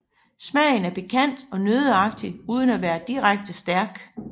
Smagen er pikant og nøddeagtig uden at være direkte stærk